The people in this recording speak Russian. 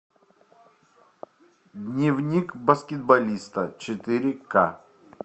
дневник баскетболиста четыре ка